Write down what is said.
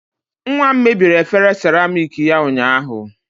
Nwa m mebiri efere seramiiki ya ụnyaahụ